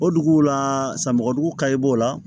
O duguw la samako dugu kayi b'o la